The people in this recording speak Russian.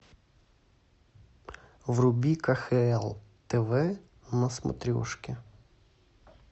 вруби кхл тв на смотрешке